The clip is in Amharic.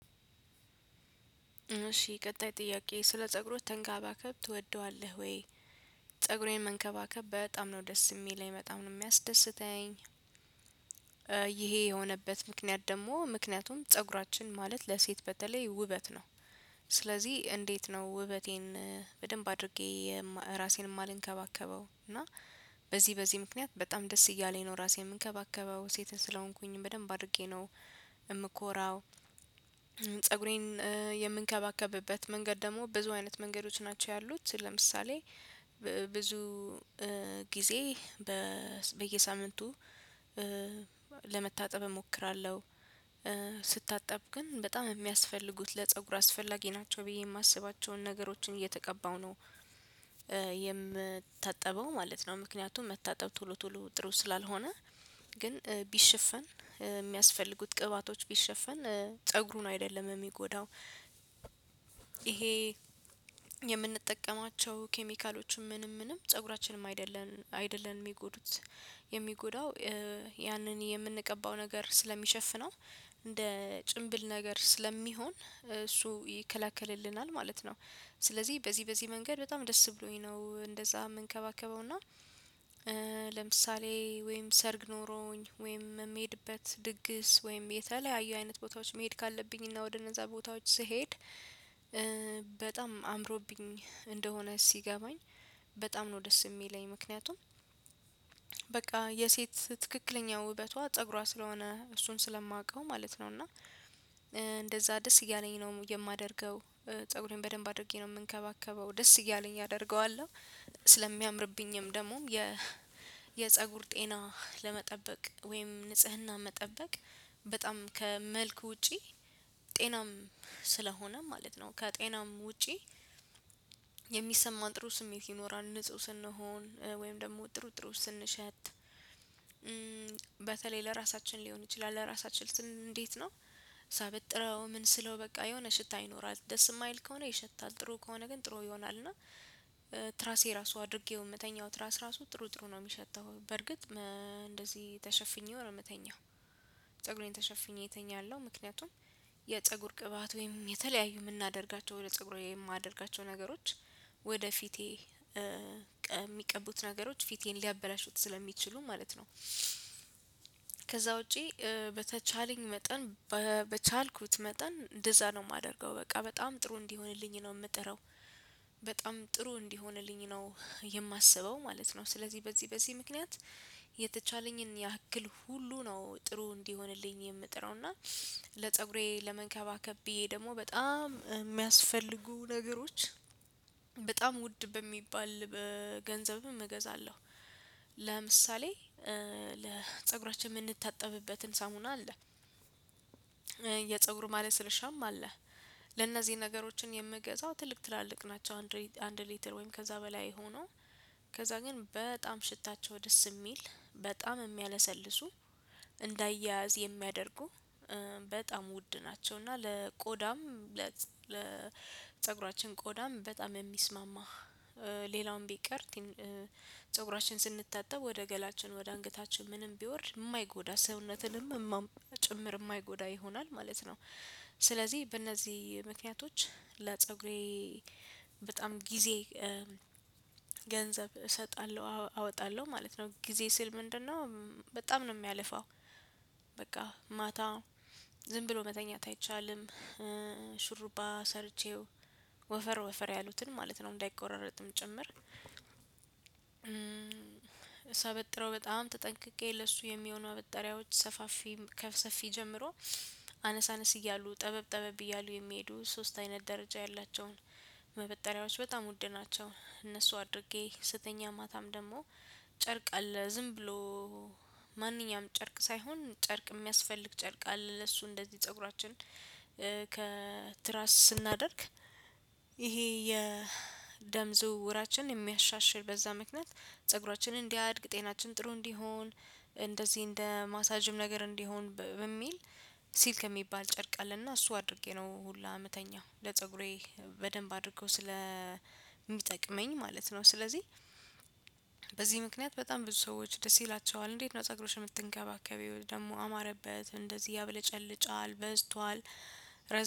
እሺ ቀጣይ ጥያቄ ስለ ፀጉሩ ተንከባከብ ትወደዋለህ ወይ? ፀጉሩን መንከባከብ በጣም ነው ደስ የሚለኝ በጣም ነው የሚያስደስተኝ። ይሄ የሆነበት ምክንያት ደግሞ ምክንያቱም ፀጉራችን ማለት ለሴት በተለይ ውበት ነው። ስለዚህ እንዴት ነው ውበቴን በደንብ አድርጌ? ራሴን የማልንከባከበው እና በዚህ በዚህ ምክንያት በጣም ደስ እያለኝ ነው ራሴን የምንከባከበው ሴትን ስለሆንኩኝ በደንብ አድርጌ ነው የምኮራው። ፀጉሬን የምንከባከብበት መንገድ ደግሞ ብዙ አይነት መንገዶች ናቸው ያሉት። ለምሳሌ ብዙ ጊዜ በየሳምንቱ ለመታጠብ እሞክራለሁ። ስታጠብ ግን በጣም የሚያስፈልጉት ለፀጉር አስፈላጊ ናቸው ብዬ የማስባቸውን ነገሮችን እየተቀባው ነው። የምታጠበው ማለት ነው ምክንያቱም መታጠብ ቶሎ ቶሎ ጥሩ ስላልሆነ። ግን ቢሸፈን የሚያስፈልጉት ቅባቶች ቢሸፈን ፀጉሩን አይደለም የሚጎዳው። ይሄ የምንጠቀማቸው ኬሚካሎችም ምንም ምንም ፀጉራችንም አይደለንም አይደለንም የሚጎዱት የሚጎዳው ያንን የምንቀባው ነገር ስለሚሸፍነው እንደ ጭንብል ነገር ስለሚሆን እሱ ይከለክልልናል ማለት ነው። ስለዚህ በዚህ በዚህ መንገድ በጣም ደስ ብሎኝ ነው እንደዛ የምንከባከበው እና። ለምሳሌ ወይም ሰርግ ኖሮኝ ወይም የምሄድበት ድግስ ወይም የተለያዩ አይነት ቦታዎች መሄድ ካለብኝ እና ወደ እነዛ ቦታዎች ስሄድ። በጣም አምሮብኝ እንደሆነ ሲገባኝ በጣም ነው ደስ የሚለኝ ምክንያቱም። በቃ የሴት ትክክለኛ ውበቷ ፀጉሯ ስለሆነ እሱን ስለማውቀው ማለት ነው። እና እንደዛ ደስ እያለኝ ነው የማደርገው። ፀጉሬን በደንብ አድርጌ ነው የምንከባከበው ደስ እያለኝ አደርገዋለሁ ስለሚያምርብኝም ደግሞ የ የፀጉር ጤና ለመጠበቅ ወይም ንጽህና መጠበቅ። በጣም ከመልኩ ውጪ ጤናም ስለሆነ ማለት ነው። ከጤናም ውጪ። የሚሰማን ጥሩ ስሜት ይኖራል ንጹህ ስንሆን ወይም ደግሞ ጥሩ ጥሩ ስንሸት። በተለይ ለራሳችን ሊሆን ይችላል ለራሳችን ስንል እንዴት ነው? ሳበጥረው ምን ስለው በቃ የሆነ ሽታ ይኖራል ደስ የማይል ከሆነ ይሸታል ጥሩ ከሆነ ግን ጥሩ ይሆናል። እና ትራሴ ራሱ አድርጌው የምተኛው ትራስ ራሱ ጥሩ ጥሩ ነው የሚሸተው በርግጥ እንደዚህ ተሸፍኜ ነው የምተኛው። ፀጉሬን ተሸፍኜ እተኛለሁ ምክንያቱም የፀጉር ቅባት ወይም የተለያዩ የምናደርጋቸው ወደ ፀጉራዊ የማደርጋቸው ነገሮች። ወደ ፊቴ የሚቀቡት ነገሮች ፊቴን ሊያበላሹት ስለሚችሉ ማለት ነው። ከዛ ውጪ በተቻለኝ መጠን በቻልኩት መጠን እንደዛ ነው የማደርገው በቃ በጣም ጥሩ እንዲሆንልኝ ነው የምጥረው። በጣም ጥሩ እንዲሆንልኝ ነው የማስበው ማለት ነው። ስለዚህ በዚህ በዚህ ምክንያት የተቻለኝን ያክል ሁሉ ነው ጥሩ እንዲሆንልኝ የምጥረው። እና ለፀጉሬ ለመንከባከብ ብዬ ደግሞ በጣም የሚያስፈልጉ ነገሮች በጣም ውድ በሚባል በገንዘብም እገዛለሁ። ለምሳሌ ለፀጉራችን የምንታጠብበትን ሳሙና አለ። የፀጉሩ ማለት ስርሻም አለ። ለነዚህ ነገሮችን የምገዛው ትልቅ ትላልቅ ናቸው አንድ ሊትር ወይም ከዛ በላይ ሆኖ። ከዛ ግን በጣም ሽታቸው ደስ የሚል በጣም የሚያለሰልሱ እንዳያዝ የሚያደርጉ በጣም ውድ ናቸው። እና ለቆዳም ለ ለፀጉራችን ቆዳም በጣም የሚስማማ። ሌላውን ቢቀር ፀጉራችን ስንታጠብ ወደ ገላችን ወደ አንገታችን ምንም ቢወርድ የማይጎዳ ሰውነትንም ጭምር የማይጎዳ ይሆናል ማለት ነው። ስለዚህ በእነዚህ ምክንያቶች ለፀጉሬ በጣም ጊዜ ገንዘብ እሰጣለሁ አወጣለሁ ማለት ነው። ጊዜ ስል ምንድነው በጣም ነው የሚያለፋው? በቃ ማታ ዝም ብሎ መተኛት አይቻልም። ሽሩባ ሰርቼው ወፈር ወፈር ያሉትን ማለት ነው እንዳይቆረረጥም ጭምር። ሳበጥረው በጣም ተጠንቅቄ ለሱ የሚሆኑ አበጣሪያዎች ሰፋፊ ከሰፊ ጀምሮ አነሳነስ እያሉ ጠበብ ጠበብ እያሉ የሚሄዱ ሶስት አይነት ደረጃ ያላቸውን ማበጠሪያዎች በጣም ውድ ናቸው። እነሱ አድርጌ ስተኛ ማታም ደግሞ ጨርቅ አለ ዝም ብሎ ማንኛውም ጨርቅ ሳይሆን ጨርቅ የሚያስፈልግ ጨርቅ አለ ለሱ እንደዚህ ፀጉራችን። ከትራስ ስናደርግ። ይሄ የደም ዝውውራችንን የሚያሻሽል በዛ ምክንያት ፀጉራችንን እንዲያድግ ጤናችን ጥሩ እንዲሆን እንደዚህ እንደ ማሳጅም ነገር እንዲሆን በሚል። ሲል ከሚባል ጨርቃለሁና እሱ አድርጌ ነው ሁላ የምተኛው ለፀጉሬ በደንብ አድርገው ስለሚጠቅመኝ ማለት ነው። ስለዚህ በዚህ ምክንያት በጣም ብዙ ሰዎች ደስ ይላቸዋል። እንዴት ነው? ፀጉርሽ የምትንከባከቢው ደግሞ አማረበት እንደዚህ ያብለጨልጫል በዝቷል።